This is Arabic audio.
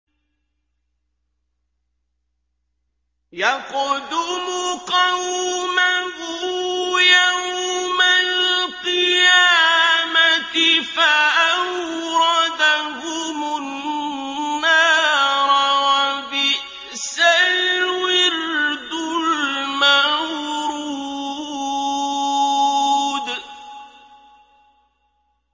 يَقْدُمُ قَوْمَهُ يَوْمَ الْقِيَامَةِ فَأَوْرَدَهُمُ النَّارَ ۖ وَبِئْسَ الْوِرْدُ الْمَوْرُودُ